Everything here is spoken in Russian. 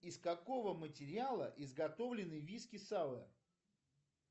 из какого материала изготовлены виски сауэр